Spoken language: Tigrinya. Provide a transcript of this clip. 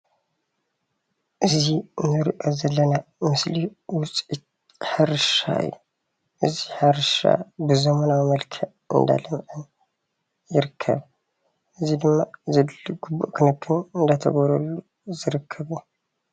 እዚ እንሪኦ ዘለና ምስሊ ውፅኢት ሕርሻ እዩ። እዙይ ሕርሻ ብዘመናዊ መልክዕ እናለምዐ ይርከብ። እዚ ድማ ዘድሊ ግቡእ ክንክን እናተገበረሉ ዝርከብ እዩ።